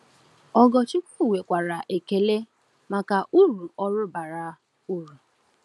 Ogorchukwu nwekwara ekele maka uru ọrụ bara uru.